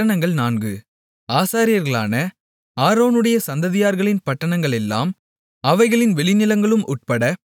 ஆசாரியர்களான ஆரோனுடைய சந்ததியார்களின் பட்டணங்களெல்லாம் அவைகளின் வெளிநிலங்களும் உட்பட பதின்மூன்று